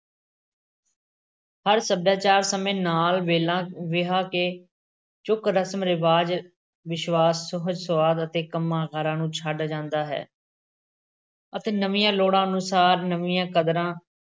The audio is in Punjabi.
ਹਰ ਸੱਭਿਆਚਾਰ ਸਮੇਂ ਨਾਲ ਵੇਲਾ ਵਿਹਾ ਕੇ ਚੁੱਕ ਰਸਮ-ਰਿਵਾਜ, ਵਿਸ਼ਵਾਸ, ਸੁਹਜ-ਸੁਆਦ ਅਤੇ ਕੰਮਾਂ-ਕਾਰਾਂ ਨੂੰ ਛੱਡਦਾ ਜਾਂਦਾ ਹੈ ਅਤੇ ਨਵੀਂਆਂ ਲੋੜਾਂ ਅਨੁਸਾਰ ਨਵੀਂਆਂ ਕਦਰਾਂ-